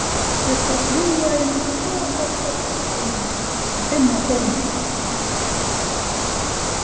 Ég skal fljúga inn um skráargatið á kistunum og finna góminn.